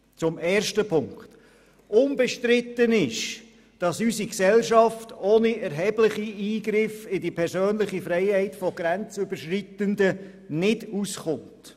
Zum ersten Punkt ist Folgendes zu sagen: Unbestritten ist, dass unsere Gesellschaft ohne erhebliche Eingriffe in die persönliche Freiheit von Grenzüberschreitenden nicht auskommt.